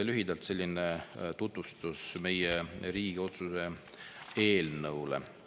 Lühidalt siis meie pakutava Riigikogu otsuse eelnõu selline tutvustus.